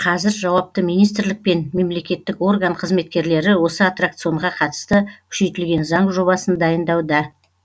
қазір жауапты министрлік пен мемлекеттік орган қызметкерлері осы аттракционға қатысты күшейтілген заң жобасын дайындауда